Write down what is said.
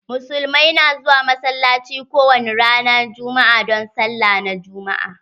Muslimai na zuwa massalacci ko wani ranan juma'a don sallah na juma'a.